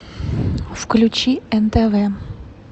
включи нтв